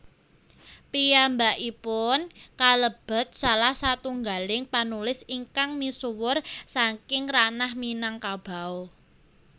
Piyambakipun kalebet salah satunggaling panulis ingkang misuwur saking ranah Minangkabau